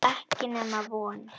Ekki nema von.